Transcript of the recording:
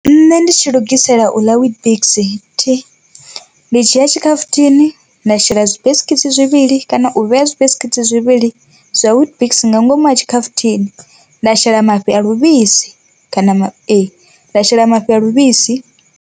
Nṋe ndi tshi lugisela u ḽa weetbix thi, ndi dzhia tshikhafuthini nda shela zwibiskitsi zwivhili kana u vhea zwibiskitsi zwivhili zwa weetbix nga ngomu ha tshikhafuthini, nda shela mafhi a luvhisi kana ma e nda shela mafhi a luvhisi.